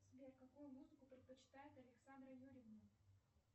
сбер какую музыку предпочитает александра юрьевна